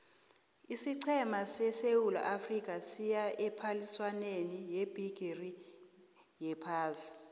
isiqhema sesewula afrika siya ephaliswaneni yebhigiri yephasi